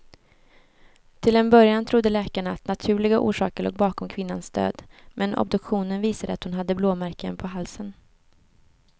Till en början trodde läkarna att naturliga orsaker låg bakom kvinnans död, men obduktionen visade att hon hade blåmärken på halsen.